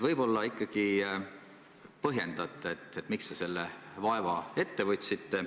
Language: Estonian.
Võib-olla ikkagi põhjendate, miks te selle vaeva ette võtsite?